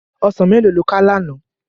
Òsán méló ló ká làná?